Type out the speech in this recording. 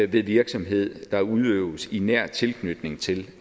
ved virksomhed der udøves i nær tilknytning til